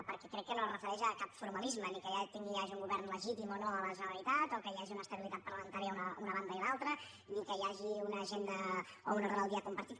perquè crec que no es refereix a cap formalisme ni al fet que hi hagi un govern legítim o no a la generalitat o que hi hagi una estabilitat parlamentària a una banda i l’altra ni que hi hagi una agenda o un ordre del dia compartit